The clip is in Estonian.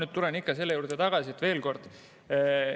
Ma tulen ikka selle juurde veel kord tagasi.